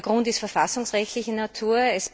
Der Grund ist verfassungsrechtlicher Natur.